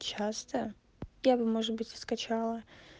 часто я бы может быть и скачала